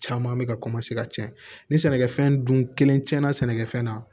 Caman bɛ ka ka tiɲɛ ni sɛnɛkɛfɛn dun kelen tiɲɛna sɛnɛ kɛfɛn na